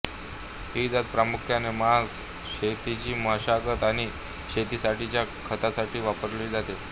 ही जात प्रामुख्याने मांस शेतीची मशागत आणि शेतीसाठीच्या खतासाठी वापरली जाते